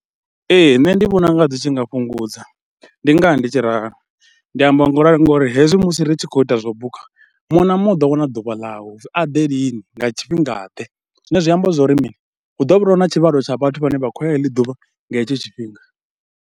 Ee nṋe ndi vhona u nga dzi tshi nga fhungudza, ndi ngaha ndi tshi ralo, ndi ambe ngauralo ngori hezwi musi ri tshi khou ita zwo buka muṅwe na muṅwe u ḓo wana ḓuvha ḽawe, uri a ḓe lini, nga tshifhingaḓe zwine zwi amba zwa uri mini, hu ḓo vha na tshivhalo tsha vhathu vhane vha khou ya heḽi ḓuvha, nga hetsho tshifhinga.